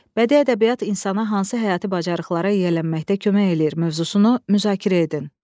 Bədii ədəbiyyat insana hansı həyati bacarıqlara yiyələnməkdə kömək eləyir mövzusunu müzakirə edin.